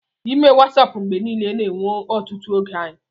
ịme Wasap mgbe niile na-ewe ọtụtụ oge anyị